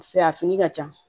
A fini ka ca